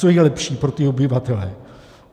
Co je lepší pro ty obyvatele?